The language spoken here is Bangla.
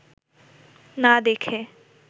না দেখে